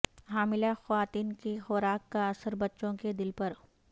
حاملہ خواتین کی خوراک کا اثر بچوں کے دل پر